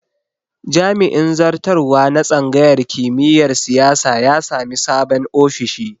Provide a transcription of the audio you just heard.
Jami'in zartarwa na tsangayar kimiyar siyasa ya sami sabon ofishi